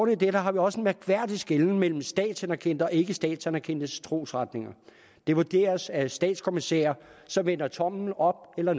i det har vi også en mærkværdig skelnen mellem statsanerkendte og ikkestatsanerkendte trosretninger det vurderes af statskommissærer som vender tommelen op eller